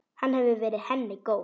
Hann hefur verið henni góður.